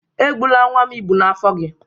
Egbula nwa m ịbụ n'afọ gị!